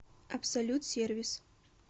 абсолют сервис